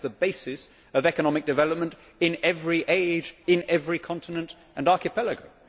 That is the basis of economic development in every age, in every continent and archipelago.